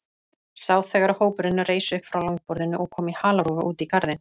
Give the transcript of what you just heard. Sá þegar hópurinn reis upp frá langborðinu og kom í halarófu út í garðinn.